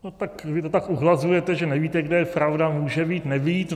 No tak vy to tak uhlazujete, že nevíte, kde je pravda, může být, nebýt.